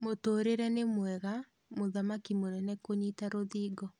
Mũtũrire ni mwega_Mũthaki mũnene kũnyita rũthingo